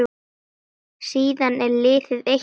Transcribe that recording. Síðan er liðið eitt ár.